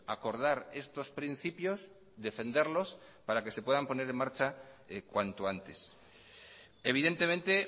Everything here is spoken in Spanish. acordar estos principios defenderlos para que se puedan poner en marcha cuanto antes evidentemente